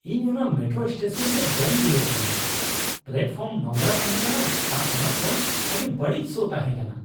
ᱤᱧ ᱚᱱᱟ metro station ᱨᱮ ᱵᱟᱹᱧ ᱨᱩᱣᱟᱹᱲ ᱠᱟᱱᱟ ᱾ ᱯᱞᱟᱴᱯᱷᱚᱨᱢ ᱱᱚᱝᱨᱟ ᱛᱟᱦᱮᱸ ᱠᱟᱱᱟ ᱟᱨ ᱚᱱᱟ ᱠᱷᱚᱱ ᱟᱹᱰᱤ ᱵᱟᱹᱲᱤᱡ ᱥᱚ ᱛᱟᱦᱮᱸ ᱠᱟᱱᱟ ᱾